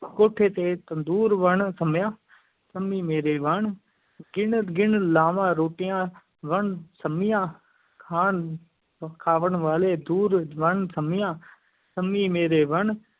ਕੋਠੇ ਤੇ ਤੰਦੂਰ ਵਣ ਸੰਮੀਆਂ ਸੰਮੀ ਮੇਰੀ ਵਣ ਗਿਣ-ਗਿਣ ਲਾਵਾਂ ਰੋਟੀਆਂ, ਵਣ ਸੰਮੀਆਂ ਖਾਣ ਖਾਵਣ ਵਾਲੇ ਦੂਰ, ਵਣ ਸੰਮੀਆਂ ਸੰਮੀ ਮੇਰੀ ਵਣ